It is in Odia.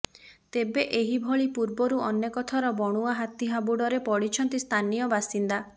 ତେବେ ଏହିଭଳି ପୂର୍ବରୁ ଅନେକ ଥର ବଣୁଆ ହାତୀ ହାବୁଡ଼ରେ ପଡ଼ିଛନ୍ତି ସ୍ଥାନୀୟ ବାସିନ୍ଦା